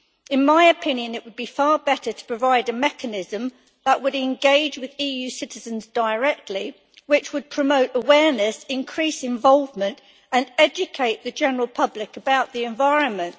In my opinion, it would be far better to provide a mechanism which would engage with EU citizens directly and which would promote awareness, increase involvement and educate the general public about the environment.